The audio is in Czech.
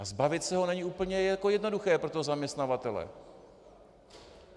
A zbavit se ho není úplně jednoduché pro toho zaměstnavatele.